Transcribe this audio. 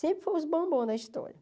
Sempre foram os bombons da história.